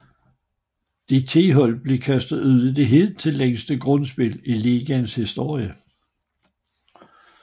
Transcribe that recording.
De ti hold blev kastet ud i det hidtil længste grundspil i ligaens historie